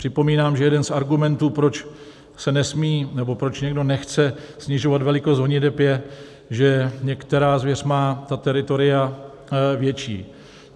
Připomínám, že jeden z argumentů, proč se nesmí nebo proč někdo nechce snižovat velikost honiteb, je, že některá zvěř má ta teritoria větší.